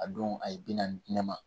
A don a ye bi naani di ne ma